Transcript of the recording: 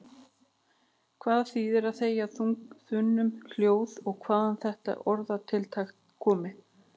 Hvað þýðir að þegja þunnu hljóði og hvaðan er þetta orðatiltæki komið?